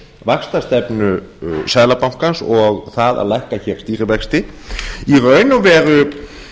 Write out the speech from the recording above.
vaxtastefnu seðlabankans og það að lækka hér stýrivexti í raun og veru